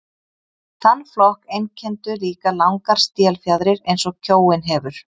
Þann flokk einkenndu líka langar stélfjaðrir eins og kjóinn hefur.